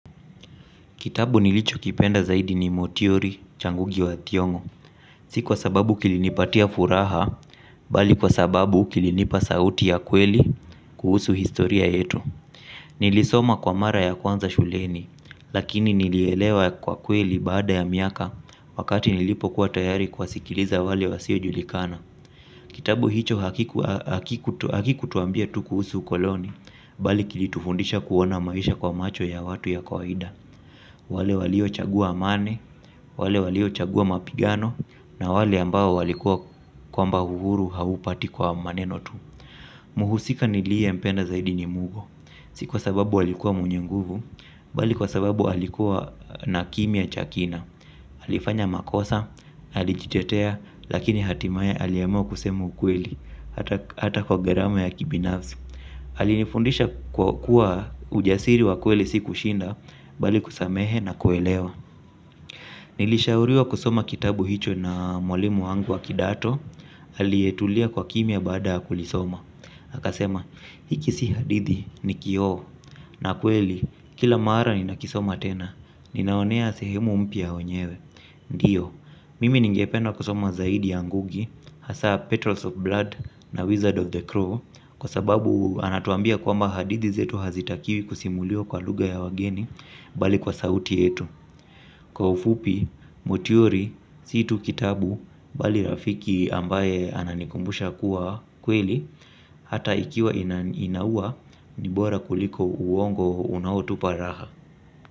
Kitabu nilicho kipenda zaidi ni motiori cha Ngugi wa Thiongo, si kwa sababu kilinipatia furaha, bali kwa sababu kilinipa sauti ya kweli kuhusu historia yetu. Nilisoma kwa mara ya kwanza shuleni, lakini nilielewa kwa kweli baada ya miaka wakati nilipokua tayari kuwasikiliza wale wasio julikana. Kitabu hicho hakiku tuambia tu kuhusu ukoloni, bali kilitufundisha kuona maisha kwa macho ya watu ya kawaida. Wale walio chagua amani wale walio chagua mapigano na wale ambao walikua kwamba uhuru haupati kwa maneno tu. Muhusika niliye mpenda zaidi ni Mugo. Si kwa sababu alikua mwenye nguvu, bali kwa sababu alikua na kimya cha kina alifanya makosa alijitetea lakini hatimaye aliamua kusema ukweli. Hata kwa garama ya kibinafsi aliye fundisha kwa kuwa ujasiri wa kweli si kushinda bali kusamehe na kuelewa. Nilishauriwa kusoma kitabu hicho na mwalimu wangu wa kidato aliye tulia kwa kimya baada ya kulisoma akasema hiki si hadithi ni kioo na kweli kila mara ninakisoma tena kinaonea sehemu mpya ya wenyewe. Ndiyo, mimi ningependa kusoma zaidi ya Ngugi hasa Petrols of Blood na Wizard of the Crow kwa sababu anatuambia kwamba hadithi zetu hazitakiwi kusimuliwa kwa lugha ya wageni bali kwa sauti yetu. Kwa ufupi, motiori, si tu kitabu, bali rafiki ambaye ananikumbusha kuwa kweli. Hata ikiwa inaua, ni bora kuliko uongo unao tupa raha.